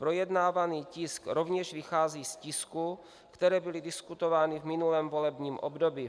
Projednávaný tisk rovněž vychází z tisků, které byly diskutovány v minulém volebním období.